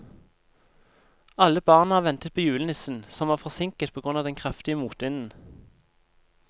Alle barna ventet på julenissen, som var forsinket på grunn av den kraftige motvinden.